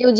কেউ